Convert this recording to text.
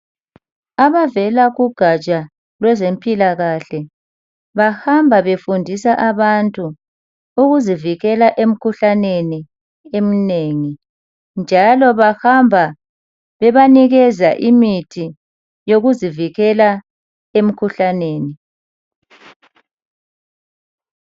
Abavela kugaja lwezempilakahle bahamba befundisa abantu ukuzivikela emkhuhlaneni eminengi. Njalo bahamba bebanikeza imithi yokuzivikela emkhuhlaneni.